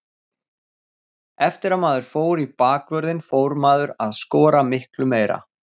Eftir að maður fór í bakvörðinn fór maður að skora miklu meira.